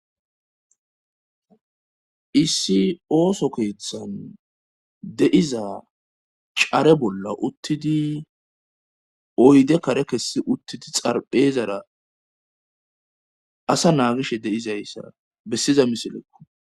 issi ooso keeththan deiza care bolla uttidi oyde kare kessi uttidi xarpheezara asa naagishe deizayssa bessiza misilekko